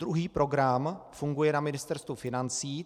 Druhý program funguje na Ministerstvu financí.